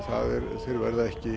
þeir verða ekki